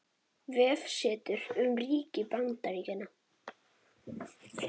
Vefsetur um ríki Bandaríkjanna.